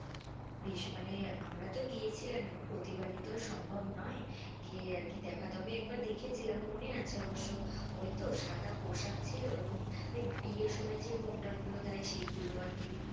V~ মানে আমরা তো গিয়েছিলাম এবং প্রতি বারি তো সম্ভব নই গিয়ে আর কি দেখা, তবে একবার দেখে ছিলাম মনে আছে অবস্য ওই তো সাদা পোশাক ছিল এবং ওই বিয়ের সময় যে ঘোমটা গুলো দেয় সেগুলো আর কি,